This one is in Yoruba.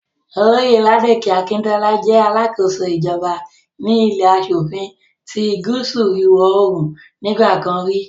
Olóyè Ládòkè Akintọ́lá jẹ́ alákóso ìjọba ní ilé aṣòfin ti gúúsù ìwọ̀-oòrùn nígbà kan rí